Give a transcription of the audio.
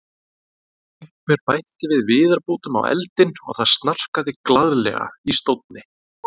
Einhver bætti viðarbútum á eldinn og það snarkaði glaðlega í stónni.